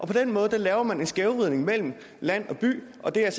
den måde laver man en skævvridning mellem land og by og det er